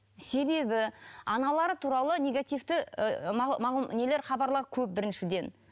себебі аналары туралы негативті ыыы нелер хабарлар көп біріншіден